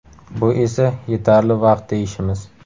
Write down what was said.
Bu esa yetarli vaqt deyishimiz.